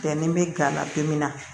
Bɛn ni bɛ gan ladon min na